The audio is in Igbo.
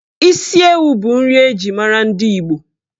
Isi ewu bụ nri eji mara ndi Igbo.